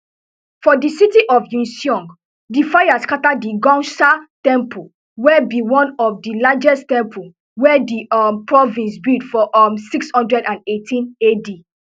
for di city of uiseong di fire scata di gounsa temple wey be one of di largest temples wey di um province build for um six hundred and eighteen ad